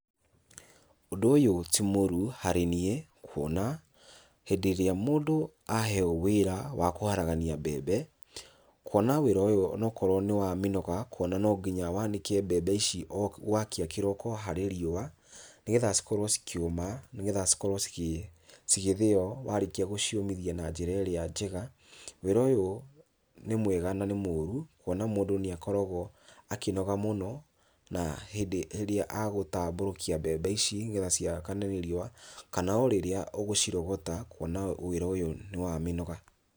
Ũndũ ũyũ ti mũru harĩ niĩ kuona, hĩndĩ ĩrĩa mũndũ aheyo wĩra wa kwaragania mbembe, kuona wĩra ũyũ onokorwo nĩ wa mĩnoga, kuona no nginya wanĩke mbembe ici o gwakĩa kĩroko harĩ riũa, nĩgetha cikorwo cikĩũma, nĩgetha cikorwo cigĩthĩo warĩkia gũciũmithia na njĩra ĩrĩa njega. Wĩra ũyũ nĩ mwega na nĩ mũru, kuona mũndũ nĩakoragwo akĩnoga mũno na hĩndĩ ĩrĩa agũtambũrũkia mbembe ici, nĩgetha ciakane nĩ riũa, kana o rĩrĩa ũgũcirogota kuona wĩra ũyũ nĩ wa mĩnoga.